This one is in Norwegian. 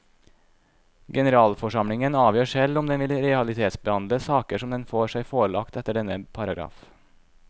Generalforsamlingen avgjør selv om den vil realitetsbehandle saker som den får seg forelagt etter denne paragraf.